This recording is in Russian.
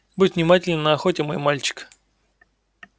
будь внимателен на охоте мой мальчик